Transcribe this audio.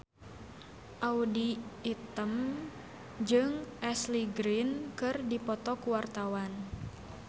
Audy Item jeung Ashley Greene keur dipoto ku wartawan